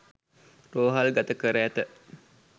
රෝහල්ගත කර ඇත